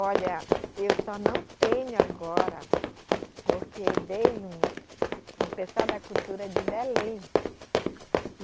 Olha, eu só não tenho agora, porque veio um, um pessoal da cultura de Belém. E